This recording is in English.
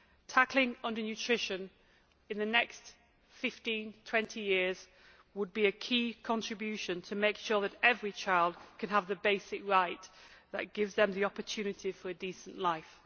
Tackling undernutrition in the next 15 to 20 years would be a key contribution to make sure that every child could have the basic right that gives them the opportunity for a decent life.